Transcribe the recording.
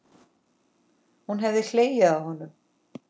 Hún hefði hlegið að honum.